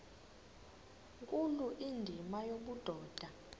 nkulu indima yobudoda